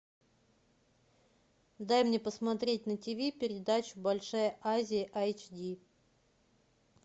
дай мне посмотреть на ти ви передачу большая азия айч ди